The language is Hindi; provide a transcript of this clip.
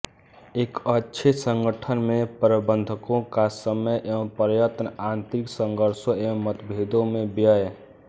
एक अच्छे संगठन में प्रबन्धकों का समय एवं प्रयत्न आन्तरिक संघर्षों एवं मतभेदों में व्यय